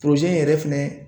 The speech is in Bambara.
yɛrɛ fɛnɛ